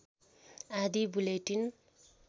आँधी बुलेटिन